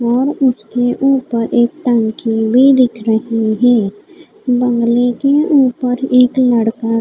और उसके ऊपर एक टंकी भी दिख रही है बंगले के ऊपर एक लड़का--